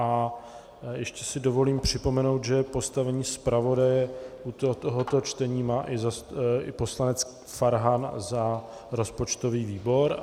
A ještě si dovolím připomenout, že postavení zpravodaje u tohoto čtení má i poslanec Farhan za rozpočtový výbor.